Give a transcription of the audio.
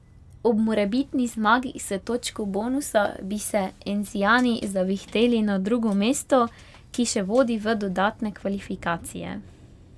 Ob morebitni zmagi s točko bonusa bi se encijani zavihteli na drugo mesto, ki še vodi v dodatne kvalifikacije.